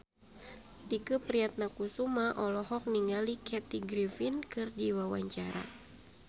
Tike Priatnakusuma olohok ningali Kathy Griffin keur diwawancara